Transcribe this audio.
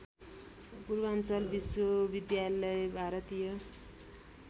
पूर्वाञ्चल विश्वविद्यालय भारतीय